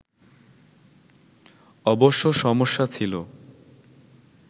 অবশ্য সমস্যা ছিল